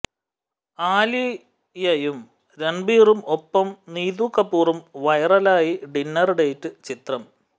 ആലിയയും രണ്ബീറും ഒപ്പം നീതു കപൂറും വൈറലായി ഡിന്നര് ഡേറ്റ് ചിത്രം